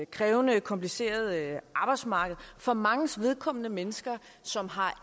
krævende komplicerede arbejdsmarked for manges vedkommende mennesker som har